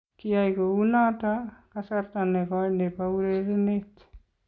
Kiyai kounoto kasarta nekoii nebo urerenet.